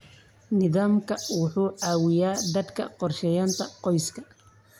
Nidaamkani wuxuu caawiyaa dadka qorsheynta qoyska.